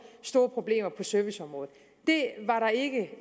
store problemer på serviceområdet det var der ikke